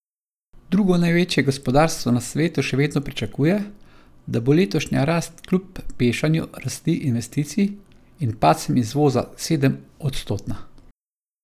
Drugo največje gospodarstvo na svetu še vedno pričakuje, da bo letošnja rast kljub pešanju rasti investicij in padcem izvoza sedemodstotna.